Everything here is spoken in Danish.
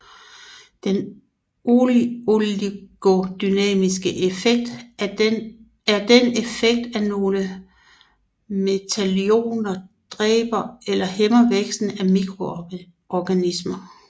Den oligodynamiske effekt er den effekt at nogle metalioner dræber eller hæmmer væksten af mikroorganismer